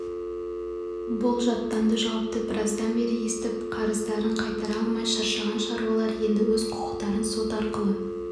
бұл жаттанды жауапты біраздан бері естіп қарыздарын қайтара алмай шаршаған шаруалар енді өз құқықтарын сот арқылы